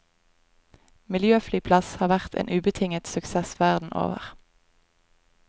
Miljøflyplass har vært en ubetinget suksess verden over.